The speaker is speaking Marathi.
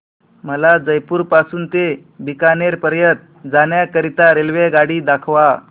मला जयपुर पासून ते बीकानेर पर्यंत जाण्या करीता रेल्वेगाडी दाखवा